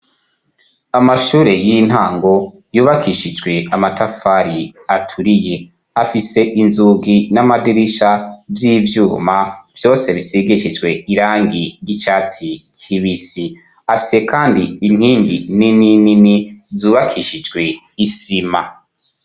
Amashure y'intango yubakishijwe amatafari aturiye afise inzugi n'amadirisha vy'ivyuma vyose bisigishijwe irangi ry'icatsi kibisi afise kandi inkingi nini nini zubakishijwe isima.